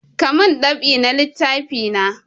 Ka mun dab'i na littafi na!